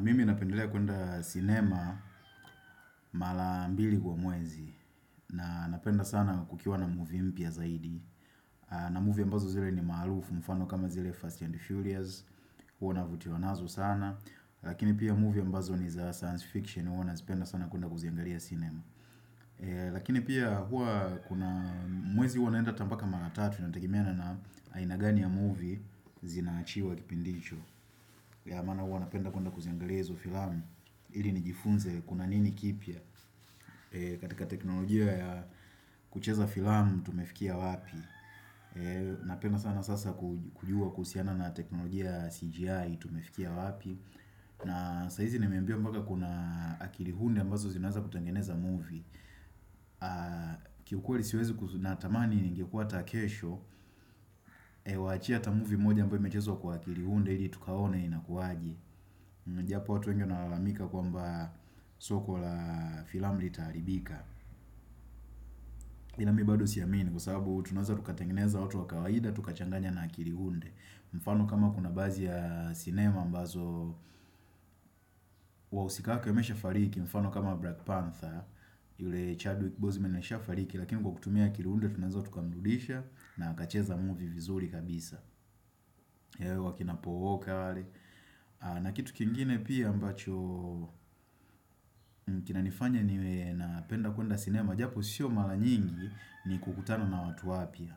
Mimi napendelea kwenda sinema mara mbili kwa mwezi. Na napenda sana kukiwa na movie mpya zaidi. Na movie ambazo zile ni maarufu mfano kama zile First and Furious. Huwa navutiwa nazo sana. Lakini pia movie ambazo ni za science fiction. Huwa nazipenda sana kwenda kuziangalia sinema. Lakini pia huwa kuna mwezi huwa naenda hata mpaka mara tatu. Inategemea na aina gani ya movie zinaachiwa kipindicho. Ya maana huwa napenda kwenda kuziangalia hizo filamu. Ili nijifunze kuna nini kipya katika teknolojia ya kucheza filamu tumefikia wapi Napena sana sasa kujua kuhusiana na teknolojia ya CGI tumefikia wapi. Na saa hizi nimeambia mpaka kuna akili hunde ambazo zinaweza kutangeneza movie kiukweli siwezi natamani ingekua hata kesho Kuwachia hata movie moja ambayo imechezwa kwa akili unde ili tukaone inakuaje. Japo watu wengi wanalalamika kwamba soko la filamu litaribika Ila mi bado siamini kwa sababu tunaweza tukatengeneza watu wa kawaida tukachanganya na akili unde. Mfano kama kuna baadhi ya sinema ambazo wahusika wake wameshafariki mfano kama Black Panther. Yule Chadwick Boseman ashafariki lakini kwa kutumia akili unde tunaweza tukamrudisha na akacheza movie vizuri kabisa Ee kina Paul Walker wale. Na kitu kingine pia ambacho kina nifanya niwe napenda kuenda sinema japo sio mara nyingi ni kukutana na watu wapya.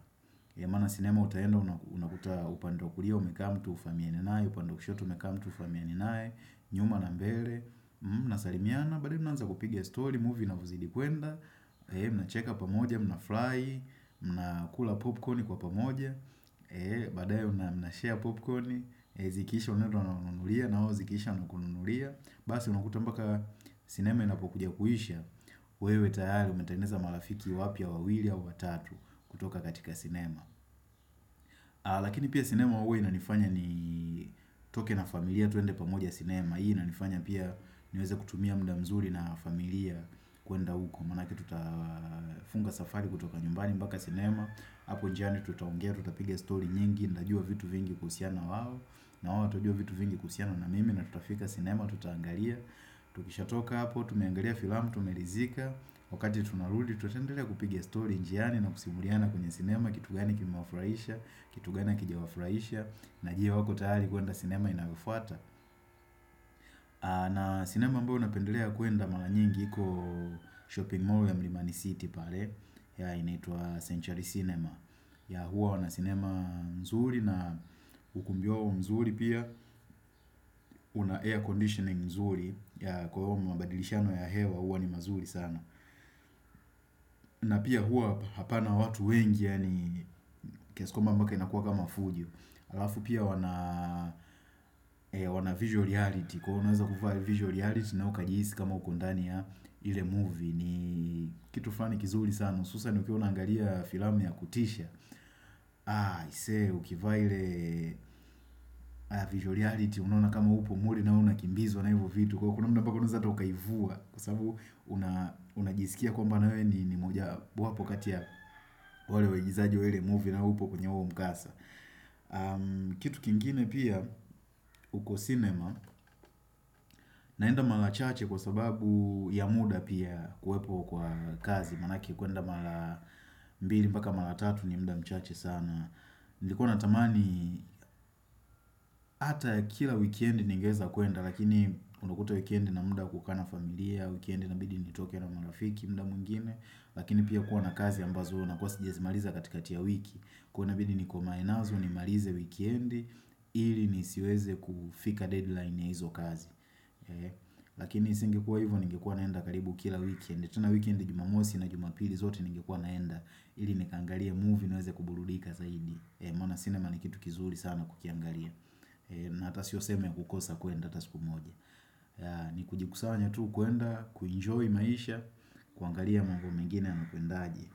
Maana sinema utaenda unakuta upande wa kulia umekaa mtu hufaamiani naye, upando wa kushoto umekaa mtu hufaamiani naye, nyuma na mbele. Mnasalimiana baadaye unaanza kupigia story, movie unavyozidi kwenda Mnacheka pamoja, mnafurahi. Mnakula popcorn kwa pamoja, baadaye mnashare popcorn. Zikiisha unenda unamnunulia nao zikiisha wanakunulia, basi unakuta mpaka sinema inapokuja kuisha wewe tayari umetengeneza marafiki wapya wawili au watatu kutoka katika sinema Lakini pia sinema huwa inanifanya nitoke na familia twende pamoja sinema. Hii inanifanya pia niweze kutumia muda mzuri na familia kwenda huko manake tutafunga safari kutoka nyumbani mpaka sinema, hapo njiani tutaongea tutapiga stori nyingi, nitajua vitu vingi kuhusiana wao na wao watajua vitu vingi kuhusiana na mimi na tutafika sinema tutaangalia tukishatoka hapo, tumeangalia filamu tumeridhika. Wakati tunarudi tutatendelea kupigia stori njiani na kusimuliana kwenye sinema kitu gani kimewafurahisha, kitu gani hakijawafurahisha na je wako tayari kwenda sinema inayufuata na sinema ambayo napendelea kwenda mara nyingi iko shopping mall ya Mlimani City pale. Ya inaitua Century cinema, ya huwa wana sinema mzuri na ukumbi wao mzuri pia una air conditioning mzuri. Kwa hivyo mabadilishano ya hewa huwa ni mazuri sana na pia huwa hapana watu wengi yani kiasi kwamba mpaka inakuwa kama fujo. Halafu pia wana visual reality, kwa hivyo unaweza kuvaa visual reality nawe ukajihisi kama uko ndani ya ile movie ni kitu flani kizuri sana. Hususan ukiwa unaangalia filamu ya kutisha Aise ukivaa ile visual reality, unaona kama upo mle nawe unakimbizwa na hivo vitu. Kwa kuna muda mpaka unaweza hata ukaivua Kwa sababu una unajisikia kwamba nawe ni moja wapo kati ya wale waigizaji wa ile movie na upo kwenye huo mkasa Kitu kingine pia uko sinema naenda mara chache kwa sababu ya muda pia kuwepo kwa kazi manake kwenda mara mbili mpaka mara tatu ni muda mchache sana. Nilikuwa natamani ata kila weekend ningeweza kwenda lakini unakuta weekend nina muda wa kukaa na familia, weekend inabidi nitoke na marafiki muda mwingine. Lakini pia kuwa na kazi ambazo inakuwa siwezi maliza katikati ya wiki kuwa inabidi nikuame nazo nimalize wikendi ili nisiweze kufika deadline ya hizo kazi Lakini singekuwa hivyo, ningekuwa naenda karibu kila weekend. Tena weekend Jumamosi na Jumapili zote ningekuwa naenda ili nikaangalie movie niweze kuburudika zaidi. Maana sinema ni kitu kizuri sana kukiangalia. Na hata sio sehemu ya kukosa kwenda hata siku moja. Ni kujikusanya tu, kwenda, kuenjoy maisha kuangalia mambo mengine yanakwenda aje.